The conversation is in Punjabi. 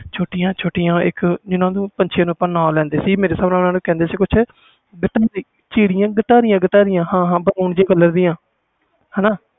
ਛੋਟੀਆਂ ਛੋਟੀਆਂ ਜਿਨ੍ਹਾਂ ਪੰਛੀਆਂ ਤੇ ਨਾਮ ਲੈਂਦੇ ਸੀ ਚਿੜੀਆਂ ਘਟਾਰੀਏ ਘਟਾਰੀਏ ਓਹਨਾ ਦੇ colour ਦੀਆ